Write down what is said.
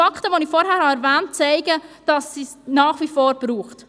Fakten, die ich vorhin erwähnt habe, zeigen, dass es diese nach wie vor braucht.